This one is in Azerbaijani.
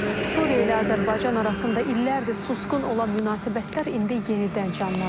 Suriya ilə Azərbaycan arasında illərdir susqun olan münasibətlər indi yenidən canlanır.